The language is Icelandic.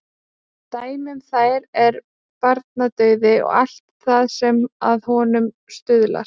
Dæmi um þær er barnadauði og allt það sem að honum stuðlar.